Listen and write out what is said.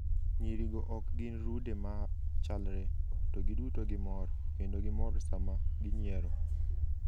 Nyirigo ok gin rude ma chalre, to giduto gimor, kendo gimor sama ginyiero.